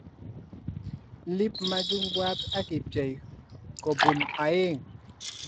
Iip machungwat akipchei kobunu aeng